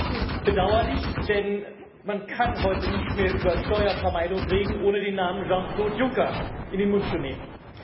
Das ist bedauerlich, denn man kann heute nicht mehr über Steuervermeidung reden, ohne den Namen Jean Claude Juncker in den Mund zu nehmen.